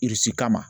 kama